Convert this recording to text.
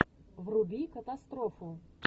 вруби катастрофу